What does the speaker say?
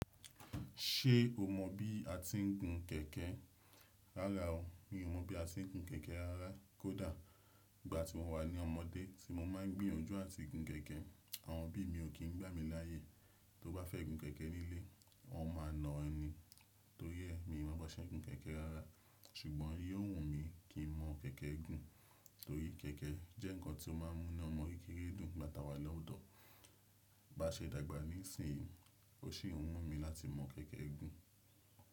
Ṣé o mọ bí a ti ń gun kẹ̀kẹ́ rárá o. Mi ò mọ̀ bí a ṣe ń gun kẹ̀kẹ́ rárá. Kódà ìgbà tí mo wà ní ọmọdé tí mo máa ń gbìyànjú à ti gun kẹ̀kẹ́, àwọn òbí mi ò kí ń gbà mí láyè. Tó bá fẹ́ gun kẹ̀kẹ́ nílé, won máa na ẹ ni. Torí ẹ́ mi ò mọ bá ṣe ń gun kẹ̀kẹ́ rárá. Ṣùgbọ́n yio wùn mi kì í mọ kẹ̀kẹ́ gun. Torí kẹ̀kẹ́ jẹ́ ǹkan tí ó máa ń mú inu ọmọ kékeré dùn nìgbà tá wà lọ́dọ̀. Bá ṣe dàgbà nísìnyí, o sì ń wùn mí láti mọ kẹ̀kẹ́ gun.